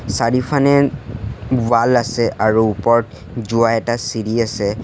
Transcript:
চাৰিওফানে wall আছে আৰু ওপৰত যোৱা এটা চিৰি আছে।